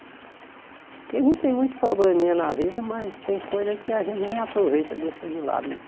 Porque a gente tem muito probleminha na vida, mas tem coisa que a gente nem aproveita, deixa de lado, né?